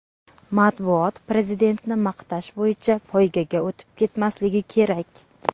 Matbuot Prezidentni maqtash bo‘yicha poygaga o‘tib ketmasligi kerak.